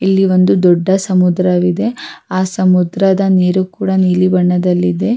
ಇಲ್ಲಿ ಒಂದು ದೊಡ್ಡ ಸಮುದ್ರವಿದೆ ಆ ಸಮುದ್ರದ ನೀರು ಕೂಡ ನೀಲಿ ಬಣ್ಣದಲ್ಲಿದೆ.